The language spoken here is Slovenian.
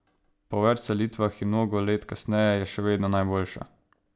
Po več selitvah in mnogo let kasneje je še vedno najboljša.